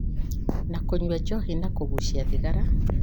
na kũnyua njohi na kũgucia thigara.